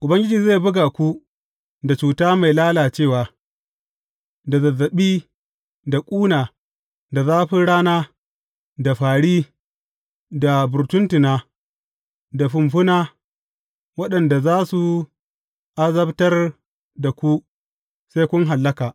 Ubangiji zai buga ku da cuta mai lalacewa, da zazzaɓi, da ƙuna, da zafin rana, da fāri, da burtuntuna, da fumfuna, waɗanda za su azabtar da ku sai kun hallaka.